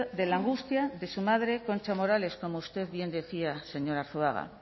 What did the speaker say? de la angustia de su madre concha morales como usted bien decía señor arzuaga